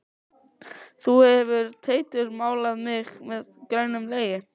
Þú hefur Teitur málað mig meður grænum legi.